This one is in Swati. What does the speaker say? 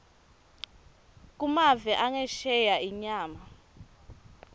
kumave angesheya inyama